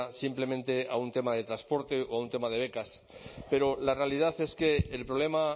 simplemente a un tema de transporte o a un tema de becas pero la realidad es que el problema